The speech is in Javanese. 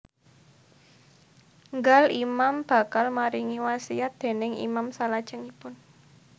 Nggal Imam bakal maringi wasiat déning Imam salajengipun